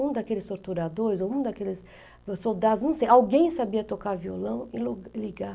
Um daqueles torturadores, um daqueles soldados, não sei, alguém sabia tocar violão e lo e ligar.